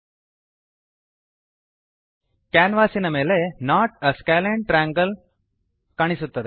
ಕ್ಯಾನ್ವಾಸಿನ ಮೇಲೆ not a scalene triangle not a scalene triangle ಕಾಣಿಸುತ್ತದೆ